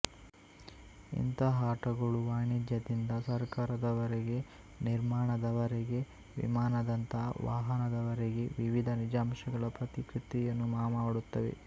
ಇಂತಹ ಆಟಗಳು ವಾಣಿಜ್ಯದಿಂದ ಸರಕಾರದವರೆಗೆ ನಿರ್ಮಾಣದವರೆಗೆ ವಿಮಾನದಂಥ ವಾಹನದವರೆಗೆ ವಿವಿಧ ನಿಜಾಂಶಗಳ ಪ್ರತಿಕೃತಿಯನ್ನು ಮಾಮಾಡುತ್ತವೆ